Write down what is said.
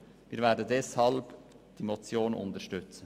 Deshalb werden wir die Motion unterstützen.